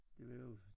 Det vil jo